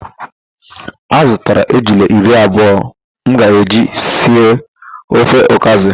A zụtara ejula iri abụọ m ga-eji si ofe ọkazị